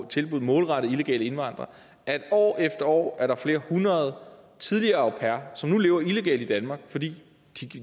tilbud målrettet illegale indvandrere at år efter år er der flere hundrede tidligere au pairer som nu lever illegalt i danmark fordi